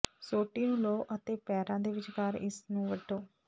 ਸੋਟੀ ਨੂੰ ਲਓ ਅਤੇ ਪੈਰਾਂ ਦੇ ਵਿਚਕਾਰ ਇਸ ਨੂੰ ਵੱਢੋ